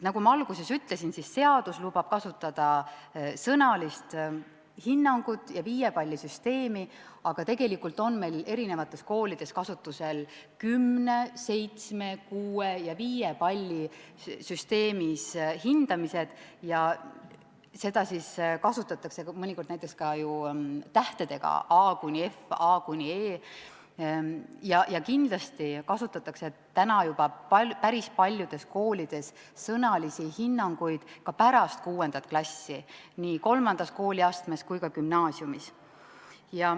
Nagu ma alguses ütlesin, seadus lubab kasutada sõnalist hinnangut ja viiepallisüsteemi, aga tegelikult on meil koolides kasutusel kümne-, seitsme-, kuue- ja viiepallisüsteemis hindamine ja hindamisel kasutatakse mõnikord ka ju tähti A–F, A–E. Kindlasti kasutatakse juba päris paljudes koolides sõnalisi hinnanguid ka pärast 6. klassi, nii III kooliastmes kui ka gümnaasiumis.